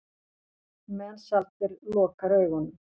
Mensalder lokar augunum.